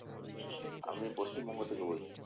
আমি পশ্চিমবঙ্গ থেকে বলছি।